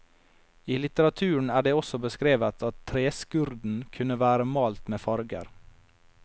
I litteraturen er det også beskrevet at treskurden kunne være malt med farger.